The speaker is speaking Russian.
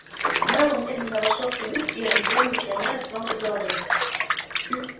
мэллоу медленно вошёл в каюту и оглядел миссионера с ног до головы